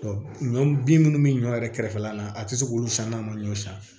ɲɔ bin munnu bɛ ɲɔ yɛrɛ kɛrɛfɛla la a tɛ se k'olu san n'a ma ɲɔ san